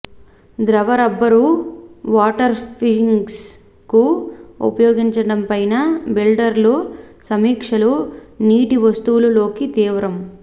ద్రవ రబ్బరు వాటర్ఫ్రూఫింగ్కు ఉపయోగించడంపై బిల్డర్ల సమీక్షలు నీటి వస్తువులు లోకి తీవ్రం